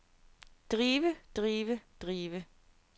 drive drive drive